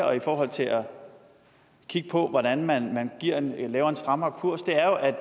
og i forhold til at kigge på hvordan man man laver en strammere kurs er at